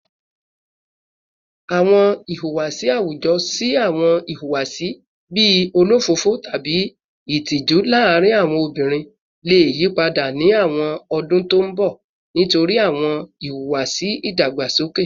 Awọn ihuwasi awujọ si awọn ihuwasi bii olofofo tabi itiju laarin awọn obinrin le yipada ni awọn ọdun to n bọ nitori awọn iwuwasi idagbasoke